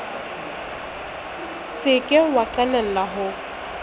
se ke wa qalella ho